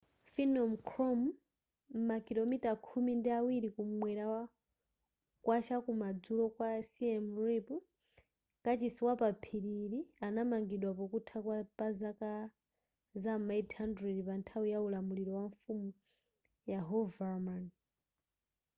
phnom krom makilomita khumi ndi awiri kumwela kwa chaku madzulo kwa siem reap kachisi wapa phiri ili anamangidwa pokutha pa zaka za ma 800 panthawi ya ulamuliro wa mfumu yasovarman